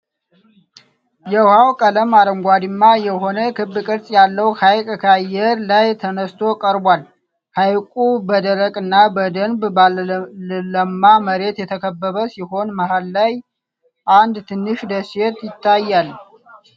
የውሃው ቀለም አረንጓዴማ የሆነ ክብ ቅርጽ ያለው ሀይቅ ከአየር ላይ ተነስቶ ቀርቧል። ሀይቁ በደረቅና በደንብ ባልለማ መሬት የተከበበ ሲሆን፣ መሃል ላይ አንድ ትንሽ ደሴት ይታያል።